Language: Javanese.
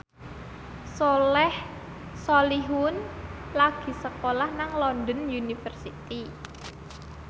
Soleh Solihun lagi sekolah nang London University